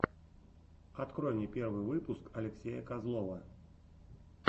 открой мне первый выпуск алексея козлова